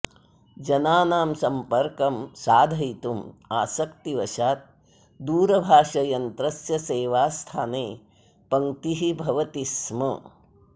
जनानां सम्पर्कं साधयितुम् आसक्तिवशात् दूरभाषयन्त्रस्य सेवास्थाने पङ्क्तिः भवति स्म